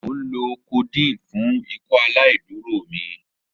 Mo nlo codeine fun Ikọaláìdúró mi.